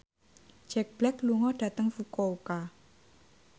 Jack Black lunga dhateng Fukuoka